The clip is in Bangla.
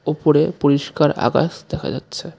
ওপরে পরিষ্কার আকাশ দেখা যাচ্ছে.